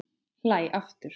Hlæ aftur.